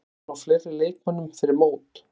Er von á fleiri leikmönnum fyrir mót?